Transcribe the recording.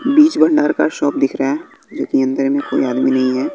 बीज भंडार का शॉप दिख रहा है जो कि अंदर में कोई आदमी नहीं है।